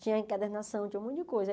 Tinha encadernação, tinha um monte de coisa.